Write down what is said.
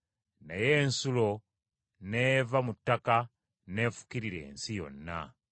Naye ensulo n’eva mu ttaka n’efukirira ensi yonna.